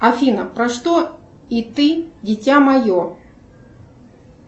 афина про что и ты дитя мое